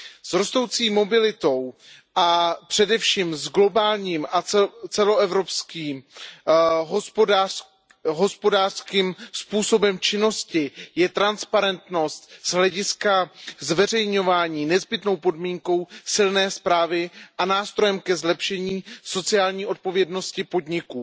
S rostoucí mobilitou a především s globálním a celoevropským hospodářským způsobem činnosti je transparentnost z hlediska zveřejňování nezbytnou podmínkou silné správy a nástrojem ke zlepšení sociální odpovědnosti podniků.